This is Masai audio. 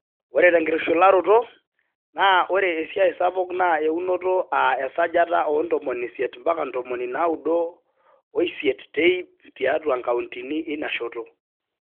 Ore tenkishularoto, naa ore esiaai sapuk naa eunoto aa esajata e 80-98 te ipp tiatua nkautini ina shoto.